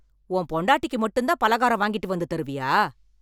உன் பொண்டாட்டிக்கு மட்டும் தான் பலகாரம் வாங்கிட்டு வந்து தருவியா?